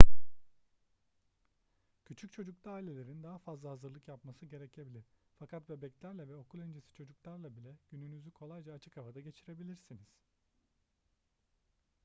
küçük çocuklu ailelerin daha fazla hazırlık yapması gerekebilir fakat bebeklerle ve okul öncesi çocuklarla bile gününüzü kolayca açık havada geçirebilirsiniz